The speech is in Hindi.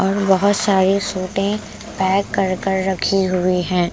और बहुत सारी सूटें पैक कर कर रखी हुई हैं ।